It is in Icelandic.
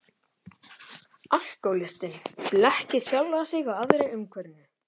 Alkohólistinn blekkir sjálfan sig og aðra í umhverfinu.